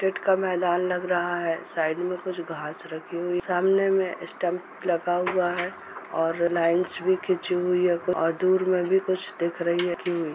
TET का मैदान लग रहा है। साइड में कुछ घास रखी हुई सामने में स्टम्प लगा हुआ है और लाइन्स भी खीची हुई है और दूर में भी कुछ दिख रही है की --